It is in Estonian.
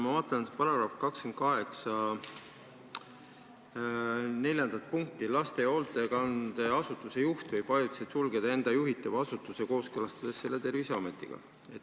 Ma vaatan § 28 neljandat punkti: "Laste- või hoolekandeasutuse juht võib ajutiselt sulgeda enda juhitava asutuse, kooskõlastades selle Terviseametiga.